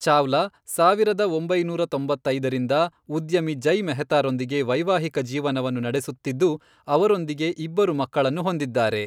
ಚಾವ್ಲಾ, ಸಾವಿರದ ಒಂಬೈನೂರ ತೊಂಬತ್ತೈದರಿಂದ, ಉದ್ಯಮಿ ಜಯ್ ಮೆಹ್ತಾರೊಂದಿಗೆ ವೈವಾಹಿಕ ಜೀವನವನ್ನು ನಡೆಸುತ್ತಿದ್ದು, ಅವರೊಂದಿಗೆ ಇಬ್ಬರು ಮಕ್ಕಳನ್ನು ಹೊಂದಿದ್ದಾರೆ.